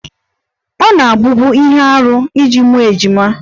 Ọ na-abụbu ihe arụ iji mụọ ejima